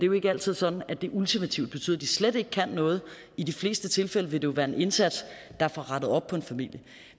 jo ikke altid sådan at det ultimativt betyder at de slet ikke kan noget i de fleste tilfælde vil det jo være en indsats der får rettet op på en familie